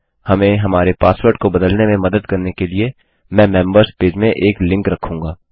हमें हमारे पासवर्ड को बदलने में मदद करने के लिए मैं मेम्बर्स पेज में एक लिंक रखूँगा